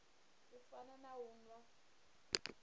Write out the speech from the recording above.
u fana na u nwa